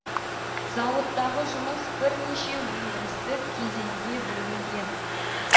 зауыттағы жұмыс бірнеше өндірістік кезеңге бөлінген